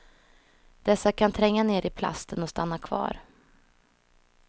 Dessa kan tränga ner i plasten och stanna kvar.